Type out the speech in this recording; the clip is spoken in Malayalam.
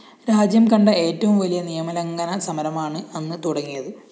രാജ്യം കണ്ട ഏറ്റവും വലിയ നിയമലംഘന സമരമാണ് അന്ന് തുടങ്ങിയത്